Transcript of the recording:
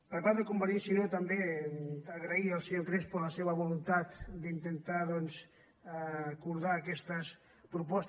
per part de convergència i unió també agrair al senyor crespo la seva volun·tat d’intentar doncs acordar aquestes propostes